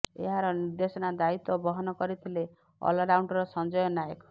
ଏହାର ନିର୍ଦ୍ଦେଶନା ଦାୟିତ୍ୱ ବହନ କରିଥିଲେ ଅଲରାଉଣ୍ଡର୍ ସଞ୍ଜୟ ନାୟକ